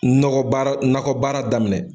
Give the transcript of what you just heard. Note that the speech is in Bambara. Nɔgɔ baara nakɔbaara daminɛ